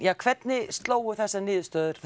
hvernig slógu þessar niðurstöður